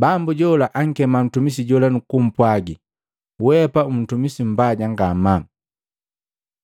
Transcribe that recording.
Bambu jola ankema ntumisi jola nukumpwagi, ‘Weapa untumisi mbaja ngamaa!